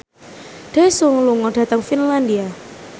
Daesung lunga dhateng Finlandia